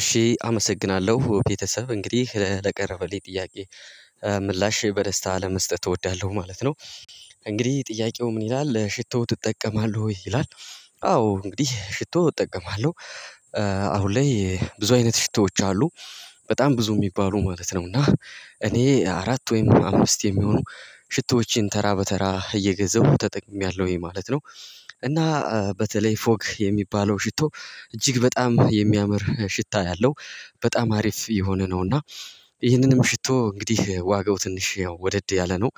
እሺ አመሰግናለሁ ቤተሰብ እንግዲህ ለቀረበልኝ ጥያቄ ምላሼ በደስታ አለመስጠት እወዳለሁ ማለት ነው። እንግዲህ ጥያቄው ምን ይላል ሽቶው ትጠቀማለህ ወይ ይላል? አዎ እንግዲህ ሽቶ እጠቀማለሁ። አሁን ላይ ብዙ አይነት ሽቶዎች አሉ። በጣም ብዙ የሚባሉ ማለት ነው እና እኔ አራት ወይም አምስት የሚሆኑ ሽቶዎችን ተራ በተራ እየገዛሁ ተጠቅሜያለሁኝ ማለት ነው። እና በተለይ ፎግ የሚባለው ሽቶ እጅግ በጣም የሚያምር ሽታ ያለው በጣም አሪፍ የሆነ ነው። እና ይህንንም ሽቶ እንግዲህ ዋጋው ትንሽ ወደድ ያለ ነው።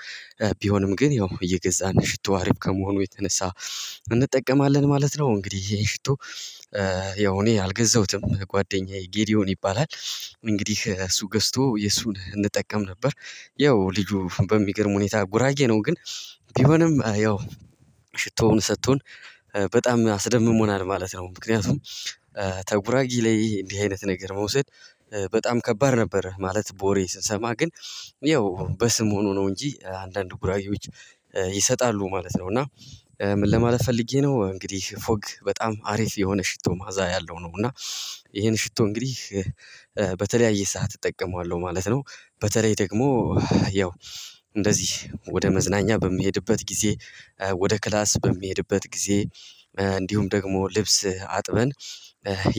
ቢሆንም ግን ያው የገዛን ሽቶ አሪፍ ከመሆኑ የተነሳ እንጠቀማለን ማለት ነው። እንግዲህ ይሄ ሽቶ ያው እኔ አልገዛሁትም ጓደኛዬ ጌዲዮን ይባላል። እንግዲህ እሱ ገዝቶ የሱን እንጠቀም ነበር። ያው ልጁ በሚገርም ሁኔታ ጉራጌ ነው። ግን ቢሆንም ያው ሽቶውን ሰጥቶን በጣም አስደምሞናል ማለት ነው። ምክንያቱም ተጉራጌ ላይ እንዲህ አይነት ነገር መውሰድ በጣም ከባድ ነበር። ማለት በወሬ ስንሰማ ግን ያው በስም ሆኖ ነው እንጂ አንዳንድ ጉራጌዎች ይሰጣሉ ማለት ነው። እና ምን ለማለት ፈልጌ ነው እንግዲህ ፎግ በጣም አሪፍ የሆነ ሽቶ መዓዛ ያለው ነው። እና ይሄን ሽቶ እንግዲህ በተለያየ ሰዓት እጠቀማለሁ ማለት ነው። በተለይ ደግሞ ያው እንደዚህ ወደ መዝናኛ በምሄድበት ጊዜ ወደ ክላስ በሚሄድበት ጊዜ እንዲሁም ደግሞ ልብስ አጥበን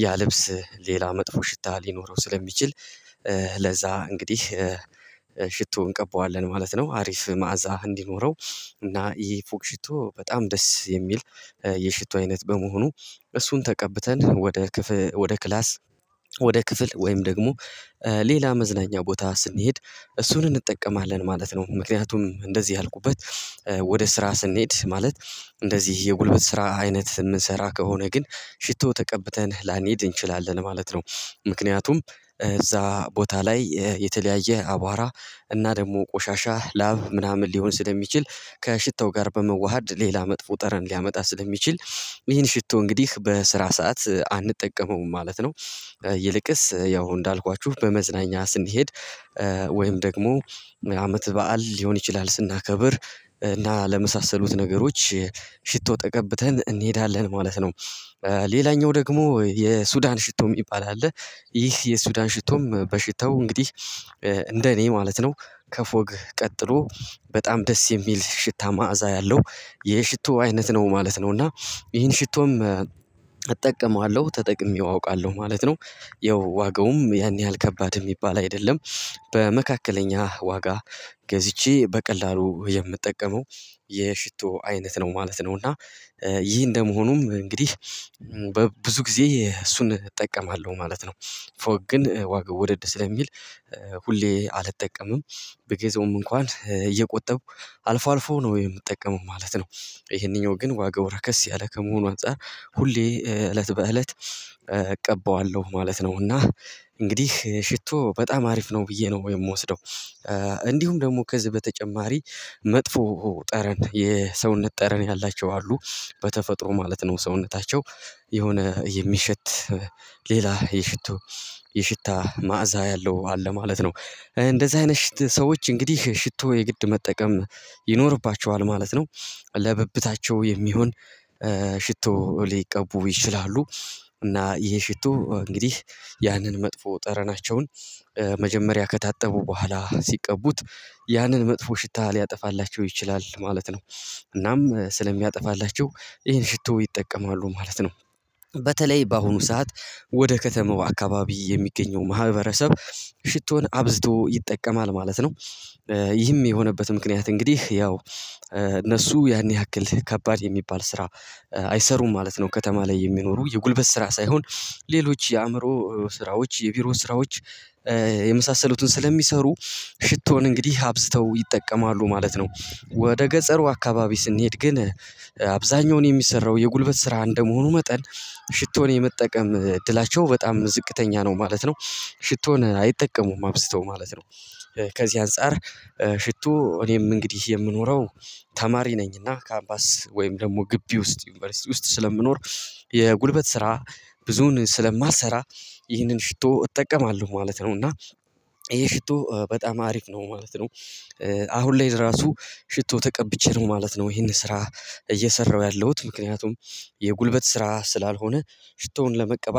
ያ ልብስ ሌላ መጥፎ ሽታ ሊኖረው ስለሚችል ለዛ እንግዲህ ሽቶ እንቀባዋለን ማለት ነው። አሪፍ መዓዛ እንዲኖረው እና ይሄ ፎግ ሽቶ በጣም ደስ የሚል የሽቶ አይነት በመሆኑ እሱን ተቀብተን ወደ ክፍል ወደ ክላስ ወደ ክፍል ወይም ደግሞ ሌላ መዝናኛ ቦታ ስንሄድ እሱን እንጠቀማለን ማለት ነው። ምክንያቱም እንደዚህ ያልኩበት ወደ ስራ ስንሄድ ማለት እንደዚህ የጉልበት ስራ አይነት የምንሰራ ከሆነ ግን ሽቶ ተቀብተን ላንሄድ እንችላለን ማለት ነው። ምክንያቱም እዛ ቦታ ላይ የተለያየ አቧራ እና ደግሞ ቆሻሻ ላብ ምናምን ሊሆን ስለሚችል ከሽታው ጋር በመዋሃድ ሌላ መጥፎ ጠረን ሊያመጣ ስለሚችል ይህን ሽቶ እንግዲህ በስራ ሰዓት አንጠቀመውም ማለት ነው። ይልቅስ ያው እንዳልኳችሁ በመዝናኛ ስንሄድ ወይም ደግሞ አመት በዓል ሊሆን ይችላል ስናከብር እና ለመሳሰሉት ነገሮች ሽቶ ተቀብተን እንሄዳለን ማለት ነው። ሌላኛው ደግሞ የሱዳን ሽቶ የሚባል አለ። ይህ የሱዳን ሽቶም በሽታው እንግዲህ እንደኔ ማለት ነው ከፎግ ቀጥሎ በጣም ደስ የሚል ሽታ መዓዛ ያለው የሽቶ አይነት ነው ማለት ነው። እና ይሄን ሽቶም እጠቀማለሁ ተጠቅሜው አውቃለሁ ማለት ነው። ያው ዋጋውም ያን ያህል ከባድ የሚባል አይደለም። በመካከለኛ ዋጋ ገዝቼ በቀላሉ የምጠቀመው የሽቶ አይነት ነው ማለት ነው። እና ይህ እንደመሆኑም እንግዲህ በብዙ ጊዜ እሱን እጠቀማለሁ ማለት ነው። ፎግ ግን ዋጋ ወደድ ስለሚል ሁሌ አልጠቀምም ብገዛውም እንኳን እየቆጠብኩ አልፎ አልፎ ነው የምጠቀመው ማለት ነው። ይሄንኛው ግን ዋጋው ረከስ ያለ ከመሆኑ አንፃር ሁሌ እለት በእለት እቀባዋለሁ ማለት ነው። እና እንግዲህ ሽቶ በጣም አሪፍ ነው ብዬ ነው የምወስደው። እንዲሁም ደግሞ ከዚህ በተጨማሪ መጥፎ ጠረን የሰውነት ጠረን ያላቸው አሉ። በተፈጥሮ ማለት ነው ሰውነታቸው የሆነ የሚሸት ሌላ የሽቶ የሽታ መዓዛ ያለው አለ ማለት ነው። እንደዚህ አይነት ሽት ሰዎች እንግዲህ ሽቶ የግድ መጠቀም ይኖርባቸዋል ማለት ነው። ለብብታቸው የሚሆን ሽቶ ሊቀቡ ይችላሉ። እና ይሄ ሽቶ እንግዲህ ያንን መጥፎ ጠረናቸውን መጀመሪያ ከታጠቡ በኋላ ሲቀቡት ያንን መጥፎ ሽታ ሊያጠፋላቸው ይችላል ማለት ነው። እናም ስለሚያጠፋላችሁ ይሄን ሽቶ ይጠቀማሉ ማለት ነው። በተለይ በአሁኑ ሰዓት ወደ ከተማው አካባቢ የሚገኘው ማህበረሰብ ሽቶን አብዝዶ ይጠቀማል ማለት ነው። ይህም የሆነበት ምክንያት እንግዲህ ያው እነሱ ያን ያክል ከባድ የሚባል ስራ አይሰሩም ማለት ነው። ከተማ ላይ የሚኖሩ የጉልበት ስራ ሳይሆን ሌሎች የአእምሮ ስራዎች የቢሮ ስራዎች የመሳሰሉትን ስለሚሰሩ ሽቶን እንግዲህ አብዝተው ይጠቀማሉ ማለት ነው። ወደ ገጸሩ አካባቢ ስንሄድ ግን አብዛኛውን የሚሰራው የጉልበት ስራ እንደመሆኑ መጠን ሽቶን የመጠቀም እድላቸው በጣም ዝቅተኛ ነው ማለት ነው። ሽቶን አይጠቀሙም አብስተው ማለት ነው። ከዚህ አንፃር ሽቶ እኔም እንግዲህ የምኖረው ተማሪ ነኝና ካምፓስ ወይም ደግሞ ግቢ ውስጥ ዩኒቨርሲቲ ውስጥ ስለምኖር የጉልበት ስራ ብዙን ስለማልሰራ ይህንን ሽቶ እጠቀማለሁ ማለት ነው። እና ይሄ ሽቶ በጣም አሪፍ ነው ማለት ነው። አሁን ላይ ራሱ ሽቶ ተቀብቼ ነው ማለት ነው። ይሄን ስራ እየሰራሁ ያለሁት ምክንያቱም የጉልበት ስራ ስላልሆነ ሽቶውን ለመቀበል